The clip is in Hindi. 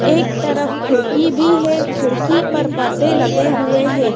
एक तरफ खिड़की भी है। खिड़की पर परदे लगे हुए हैं।